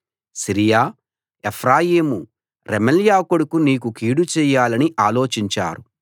Syria Ephraim Remaliah కొడుకు నీకు కీడు చేయాలని ఆలోచించారు